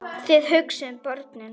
Þið hugsið um börnin.